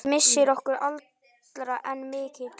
Missir okkar allra er mikill.